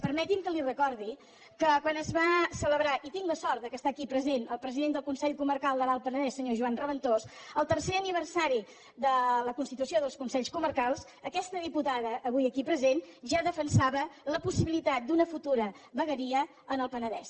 permeti’m que li recordi que quan es va celebrar i tinc la sort que està aquí present el president del consell comarcal de l’alt penedès senyor joan raventós el tercer aniversari de la constitució dels consells comarcals aquesta diputada avui aquí present ja defensava la possibilitat d’una futura vegueria en el penedès